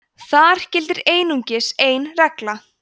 þar gildir einungis ein regla